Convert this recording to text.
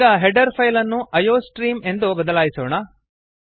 ಈಗ header file ಅನ್ನು iostream ಎಂದು ಬದಲಾಯಿಸೋಣ